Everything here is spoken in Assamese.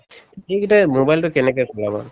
সিকেইটাই mobile টো কেনেকে